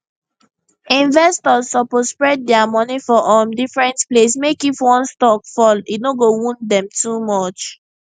investors suppose spread dia money for um different place mek if one stock fall e no go wound dem too much